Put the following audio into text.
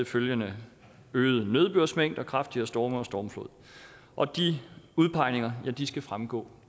følgende øget nedbørsmængder kraftigere storme og stormflod og de udpegninger skal fremgå